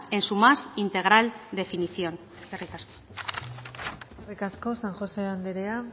en su más integral definición eskerrik asko eskerrik asko san josé anderea